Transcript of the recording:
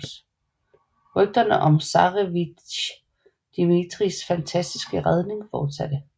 Rygterne om zarevitj Dmitrijs fantastiske redning fortsatte